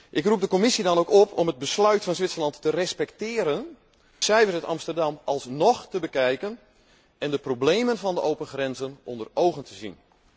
Ik roep de Commissie dan ook op om het besluit van Zwitserland te respecteren, de cijfers uit Amsterdam alsnog te bekijken en de problemen van de open grenzen onder ogen te zien.